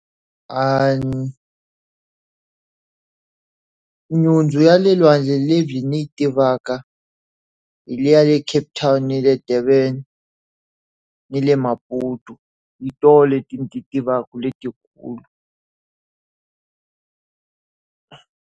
Nhundzu ya le lwandle lebyi ni yi tivaka, hi leyi ya le Cape Town na le Durban, ni le Maputo. Hi tona leti ti tivaka letikulu.